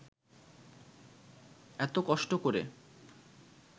এত কষ্ট করে